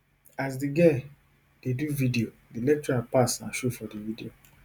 as di girl dey do video di lecturer pass and show for di video